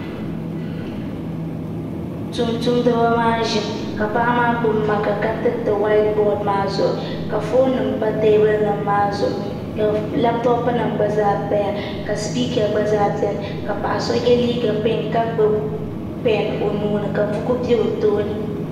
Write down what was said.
Tumtumdi bi maa ʒimi ka paɣa maa gbubi maaka ka tiriti whaait bood maa zuŋu ka foon nim pa teebuli maa zuɣu ka labtop nimgba paya ka sipiika gba zaa biɛni ka paɣa so yɛ liiga piinki ka gbubi pɛn o nuuni ka buku bɛ o tooni